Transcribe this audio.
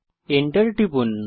Enter টিপুন